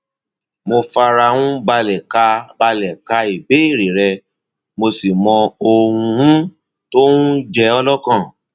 mo fara um balẹ ka balẹ ka ìbéèrè rẹ mo sì mọ ohun um tó um ń jẹ ọ lọkàn